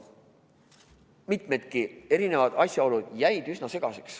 Mitmedki asjaolud jäid üsna segaseks.